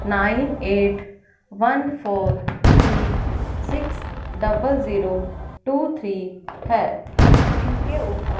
nine eight one four three six double zero two three है इनके ऊपर--